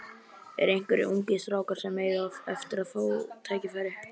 Eru einhverjir ungir strákar sem eiga eftir að fá tækifæri?